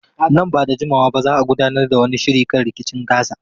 Nan ba da jimawa ba za a gudanar da wani shiri kan rikicin Gaza.